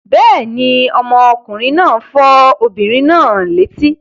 Bẹ́ẹ̀ ni, ọmọkùnrin náà fọ́ obìnrin náà létí.